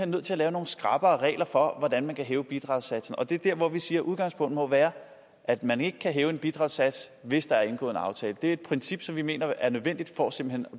nødt til at lave nogle skrappere regler for hvordan man kan hæve bidragssatsen det er dér hvor vi siger at udgangspunktet må være at man ikke kan hæve bidragssatsen hvis der er indgået en aftale det er et princip som vi mener er nødvendigt for simpelt